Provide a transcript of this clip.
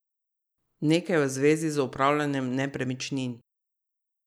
Nekaj v zvezi z upravljanjem nepremičnin.